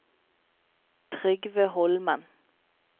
Trygve Holmen